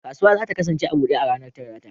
Kasuwa za ta kasance a bude ne a ranar Talata.